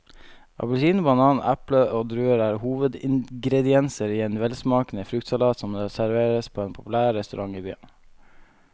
Appelsin, banan, eple og druer er hovedingredienser i en velsmakende fruktsalat som serveres på en populær restaurant i byen.